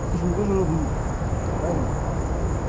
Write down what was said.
ну ты же мне тоже роднулька правильно